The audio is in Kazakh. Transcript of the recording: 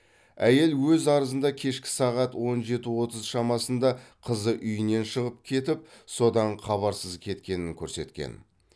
әйел өз арызында кешкі сағат он жеті отыз шамасында қызы үйінен шығып кетіп содан хабарсыз кеткенін көрсеткен